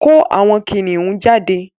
Ko àwon Kiniun jade